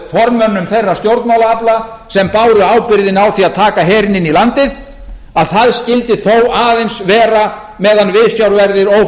af formönnum þeirra stjórnmálaafla sem báru ábyrgðina á því að taka herinn inn í landið að það skyldi þó aðeins vera meðan viðsjárverðir